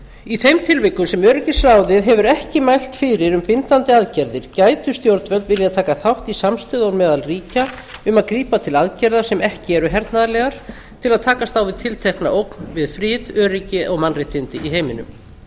í þeim tilvikum sem öryggisráðið hefur ekki mælt fyrir um bindandi aðgerðir gætu stjórnvöld vilja taka þátt í samstöðu meðal ríkja um að grípa til aðgerða sem ekki eru hernaðarlegar til þess að takast á við tiltekna ógn við frið öryggi og mannréttindi í heiminum